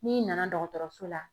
N'i nana dɔgɔtɔrɔso la